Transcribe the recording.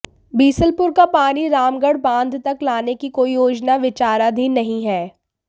बीसलपुर का पानी रामगढ़ बांध तक लाने की कोई योजना विचाराधीन नहीं है